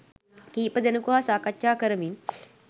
කීප දෙනෙකු හා සාකච්ඡා කරමින්